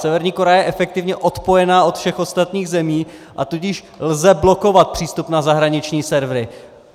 Severní Korea je efektivně odpojena od všech ostatních zemí, a tudíž lze blokovat přístup na zahraniční servery.